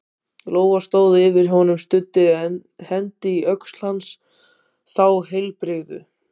Lóa stóð yfir honum, studdi hendi á öxl hans- þá heilbrigðu